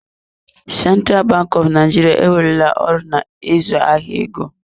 Central Bank of Nigeria ewerela ọrụ na ịzụ ahịa ego.